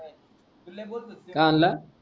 तू लय बोलतोस की का हाणला